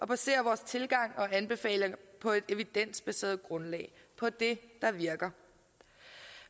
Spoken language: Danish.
basere vores tilgang og anbefalinger på et evidensbaseret grundlag på det der virker